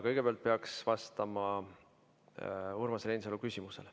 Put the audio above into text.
Kõigepealt peaks peaminister vastama Urmas Reinsalu küsimusele.